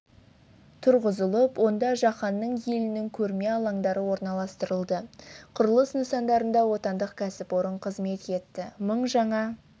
тұрғызылып онда жаһанның елінің көрме алаңдары орналастырылды құрылыс нысандарында отандық кәсіпорын қызмет етті мың жаңа